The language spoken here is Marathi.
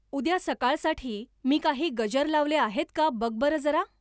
उद्या सकाळसाठी मी काही गजर लावले आहेत का बघ बरं जरा!